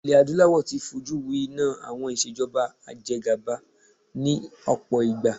Ilé adúláwò ti fọ jú wi iná àwọn ìṣèjọba ajegàba ni ọ̀pọ̀ ìgbà.